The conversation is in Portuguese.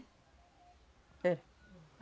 Era.